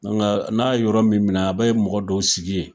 n'a yɔrɔ min minɛ a bɛ mɔgɔ dɔw sigi ye.